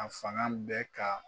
A fanga bɛ ka